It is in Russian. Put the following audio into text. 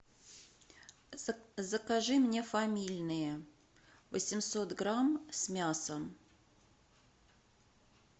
закажи мне фамильные восемьсот грамм с мясом